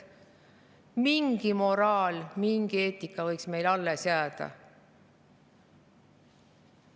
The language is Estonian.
Mingi moraal, mingi eetika võiks meile alles jääda.